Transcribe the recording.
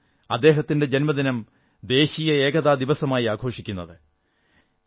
അതുകൊണ്ടാണ് അദ്ദേഹത്തിന്റെ ജന്മദിനം ദേശീയ ഏകതാ ദിവസമായി ആഘോഷിക്കുന്നത്